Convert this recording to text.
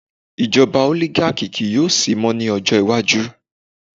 ijoba oligaki ki yo sí mo ni ọjọ iwaju